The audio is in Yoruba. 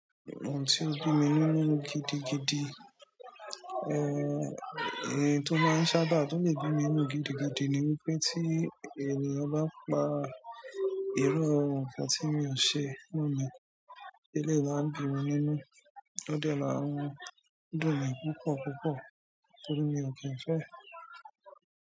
Ohun tí ó bí mi nínú gidigidi, ohun tó máa ń sábà tó lè bí mi nínú gidigidi ni wípé tí ènìyàn bá pa irú nkan tí mi ò ṣe mọ́ mi. Eleyi maa n bí mi nínú. Ó dẹ́ máa n dùn mi púpọ̀púpọ̀ torí mi ò kí ń fẹ́.